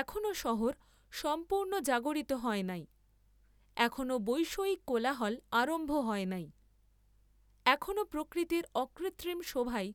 এখনও শহর সম্পূর্ণ জাগরিত হয় নাই, এখনও বৈষয়িক কোলাহল আরম্ভ হয় নাই, এখনও প্রকৃতির অকৃত্রিম শোভাই